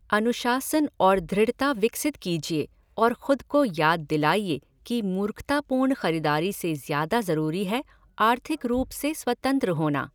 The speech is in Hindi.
अनुशासन और दृढ़ता विकसित कीजिए और खुद को याद दिलाइए कि मूर्खतापूर्ण ख़रीदारी से ज़्यादा ज़रूरी है आर्थिक रूप से स्वतंत्र होना।